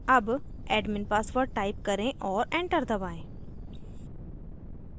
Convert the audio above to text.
अब admin password type करें और enter दबाएं